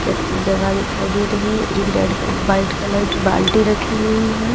अच्छी जगह दिखाई दे रही है एक रेड क वाइट कलर की बाल्टी रखी हुई है।